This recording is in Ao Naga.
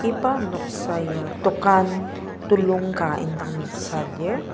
iba noksa ya dokan ka indang noksa lir.